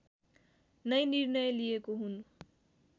नै निर्णय लिएको हुँ